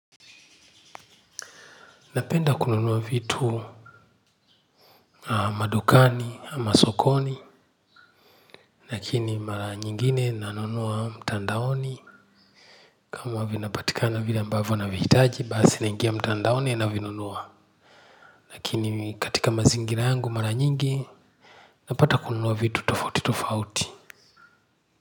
Napenda kununua vitu madukani, masokoni, lakini mara nyingine nanunua mtandaoni kama vinapatikana vile ambavyo navihitaji, basi naingia mtandaoni navinunua. Lakini katika mazingira yangu mara nyingi, napata kununua vitu tofauti tofauti.